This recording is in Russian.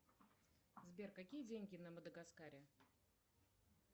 сбер какие деньги на мадагаскаре